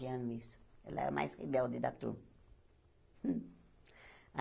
Anos ela era a mais rebelde da turma.